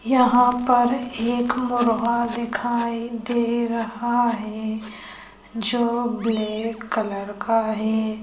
यहां पर एक मुर्गा दिखाई दे रहा है जो ब्लैक कलर का है।